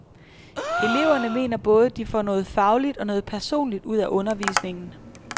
Eleverne mener både de får noget fagligt og noget personligt ud af undervisningen.